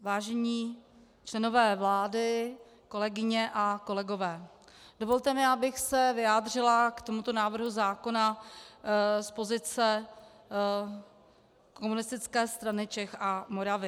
Vážení členové vlády, kolegyně a kolegové, dovolte mi, abych se vyjádřila k tomuto návrhu zákona z pozice Komunistické strany Čech a Moravy.